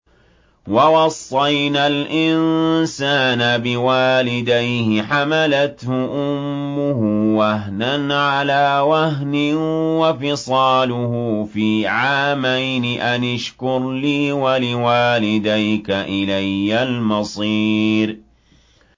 وَوَصَّيْنَا الْإِنسَانَ بِوَالِدَيْهِ حَمَلَتْهُ أُمُّهُ وَهْنًا عَلَىٰ وَهْنٍ وَفِصَالُهُ فِي عَامَيْنِ أَنِ اشْكُرْ لِي وَلِوَالِدَيْكَ إِلَيَّ الْمَصِيرُ